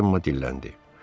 Cemma dilləndi.